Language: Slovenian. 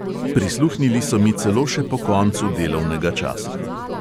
Prisluhnili so mi celo še po koncu delovnega časa.